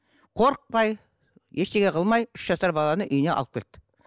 қорықпай ештеңе қылмай үш жасар баланы үйіне алып кетті